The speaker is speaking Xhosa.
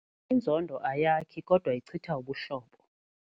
Inzondo ayakhi kodwa ichitha ubuhlobo.